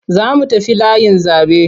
Za mu tafi layin zaɓe.